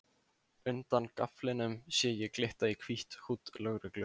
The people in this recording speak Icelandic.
Undan gaflinum sé ég glitta í hvítt húdd lögreglu